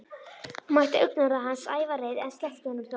Hún mætti augnaráði hans, ævareið, en sleppti honum þó.